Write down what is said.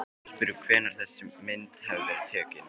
Stefnandi var spurður hvenær þessi mynd hefði verið tekin?